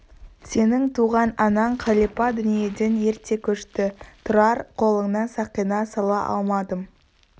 сенің туған анаң қалипа дүниеден ерте көшті тұрар қолына сақина сала алмадым